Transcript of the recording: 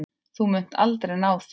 Þú munt aldrei ná þér.